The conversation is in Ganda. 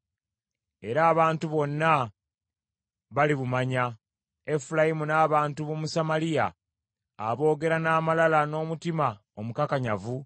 Era abantu bonna balibumanya, Efulayimu n’abantu b’omu Samaliya aboogera n’amalala n’omutima omukakanyavu,